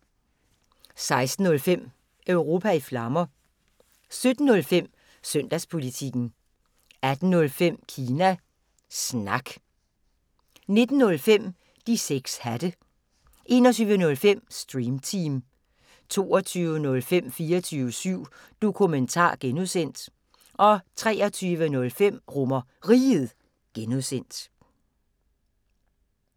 16:05: Europa i Flammer 17:05: Søndagspolitikken 18:05: Kina Snak 19:05: De 6 hatte 21:05: Stream Team 22:05: 24syv Dokumentar (G) 23:05: RomerRiget (G)